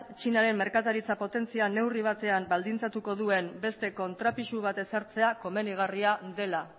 txinaren merkataritza potentzia neurri batean baldintzatuko duen beste kontrapisu bat ezartzea komenigarria dela